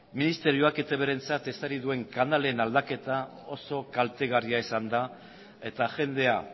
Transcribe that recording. ministerioak etbrentzat ezarri duen kanalen aldaketa oso kaltegarria izan da eta jendea